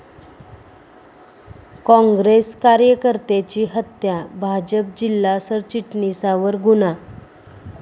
काँग्रेस कार्यकर्त्याची हत्या, भाजप जिल्हा सरचिटणीसावर गुन्हा